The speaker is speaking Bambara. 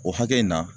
O hakɛ in na